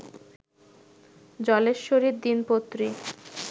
জলেশ্বরীর দিনপত্রী